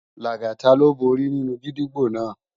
Lagata ló bóri ninú gidigbó àná